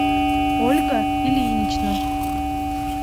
ольга ильинична